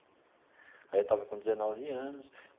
Aí eu estava com dezenove anos.